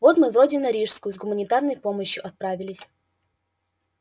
вот мы вроде на рижскую с гуманитарной помощью отправились